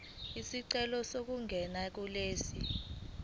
isicelo sokuganana kulesi